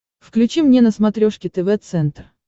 включи мне на смотрешке тв центр